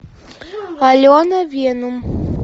алена венум